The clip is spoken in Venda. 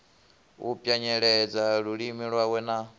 u pwanyeledza lulimi lwawe na